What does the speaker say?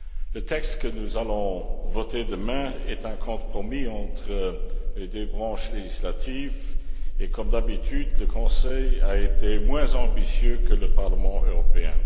Le texte que nous allons voter demain est un compromis entre les deux branches législatives et, comme d'habitude, le Conseil a été moins ambitieux que le Parlement européen.